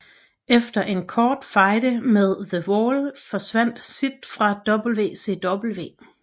Efter en kort fejde med The Wall forsvandt Sid fra WCW